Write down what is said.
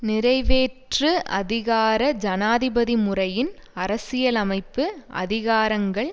நிறைவேற்று அதிகார ஜனாதிபதி முறையின் அரசியலமைப்பு அதிகாரங்கள்